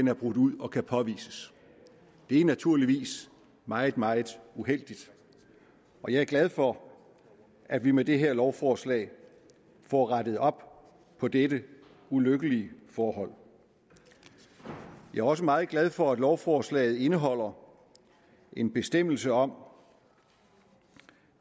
er brudt ud og kan påvises det er naturligvis meget meget uheldigt og jeg er glad for at vi med det her lovforslag får rettet op på dette ulykkelige forhold jeg er også meget glad for at lovforslaget indeholder en bestemmelse om